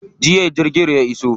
Jiya jirgin ya iso.